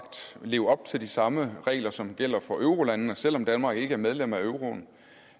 leve op til de samme regler som gælder for eurolandene selv om danmark ikke er medlem af euroen